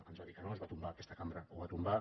ens va dir que no es va tombar aquesta cambra ho va tombar